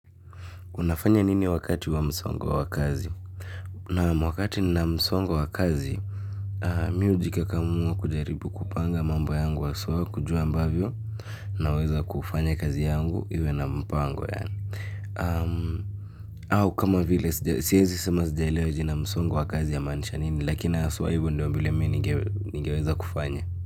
Unafanya nini wakati wa msongo wa kazi? Naam, wakati nina msongo wa kazi mimi hujikakamua kujaribu kupanga mambo yangu haswa kujua ambavyo naweza kufanya kazi yangu iwe na mpango ya au kama vile siwezi sema sijaelewa jina msongo wa kazi la maanisha nini lakini haswa hivyo ndio vile mimi ningeweza kufanya.